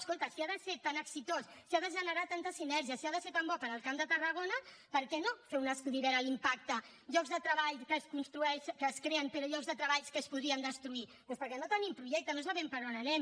escolta si ha de ser tan exitós si ha de generar tantes sinergies si ha de ser tan bo per al camp de tarragona per què no fer un estudi a veure l’impacte llocs de treball que es creen però llocs de treball que es podrien destruir doncs perquè no tenim projecte no sabem per on anem